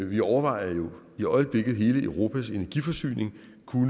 vi overvejer jo i øjeblikket i hele europas energiforsyning om